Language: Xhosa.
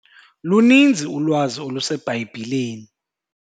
Luninzi ulwazi oluseBhayibhileni.